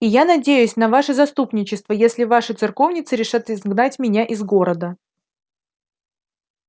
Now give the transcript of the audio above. и я надеюсь на ваше заступничество если наши церковницы решат изгнать меня из города